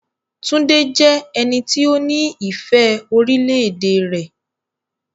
Túndé jẹ́ ẹni tó ní ìfẹ́ orílẹ̀-èdè rẹ.